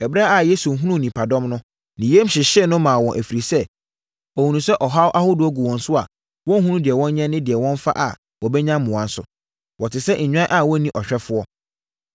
Ɛberɛ a Yesu hunuu nnipadɔm no, ne yam hyehyee no maa wɔn ɛfiri sɛ, ɔhunuu sɛ ɔhaw ahodoɔ gu wɔn so a, wɔnhunu deɛ wɔnyɛ ne deɛ wɔmfa a wɔbɛnya mmoa nso. Wɔte sɛ nnwan a wɔnni ɔhwɛfoɔ.